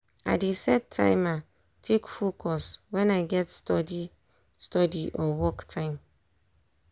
i dey set timer take focus wen i get study study or work time.